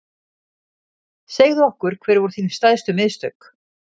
Segðu okkur hver voru þín stærstu mistök?